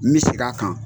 N bɛ segin a kan